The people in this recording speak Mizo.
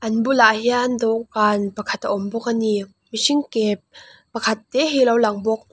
an bulah hian dawhkan pakhat a awm bawk ani mihring ke pakhat te hi a lo lang bawk.